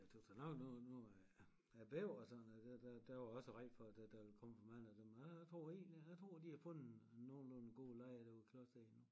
Men jeg tøs da nok at noget noget er er bæver og sådan noget